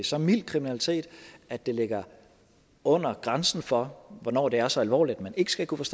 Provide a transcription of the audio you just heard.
så mild kriminalitet at det ligger under grænsen for hvornår det er så alvorligt at man ikke skal kunne